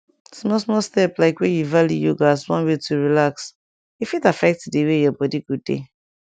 small small step like wey you value yoga as one way to relax e fit affect di way your body go dey